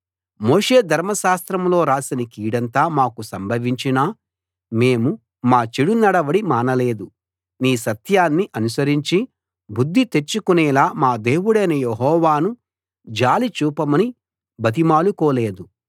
మోషే ధర్మశాస్త్రంలో రాసిన కీడంతా మాకు సంభవించినా మేము మా చెడు నడవడి మానలేదు నీ సత్యాన్ని అనుసరించి బుద్ధి తెచ్చుకునేలా మా దేవుడైన యెహోవాను జాలి చూపమని బతిమాలుకోలేదు